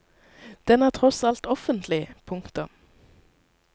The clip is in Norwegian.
Den er tross alt offentlig. punktum